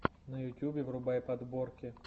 на ютубе врубай подборки